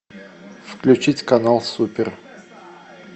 включить канал супер